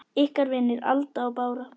Ykkar vinir, Alda og Bára.